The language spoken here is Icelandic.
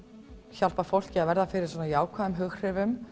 hjálpa fólki að verða fyrir jákvæðum hughrifum